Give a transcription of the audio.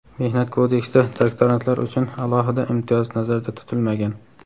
Mehnat kodeksida doktorantlar uchun alohida imtiyoz nazarda tutilmagan.